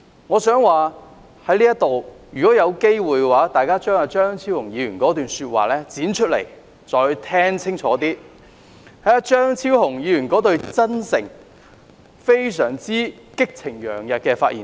我想說如果有機會，大家可以把張超雄議員發言的錄音紀錄剪出來，再聽清楚張超雄議員那段"真誠"、激情洋溢的發言。